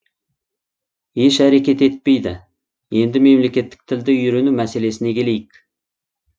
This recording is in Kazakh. еш әрекет етпейді енді мемлекеттік тілді үйрену мәселесіне келейік